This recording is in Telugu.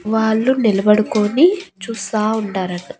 వాళ్లు నిలబడుకొని చూస్తా ఉండారంట.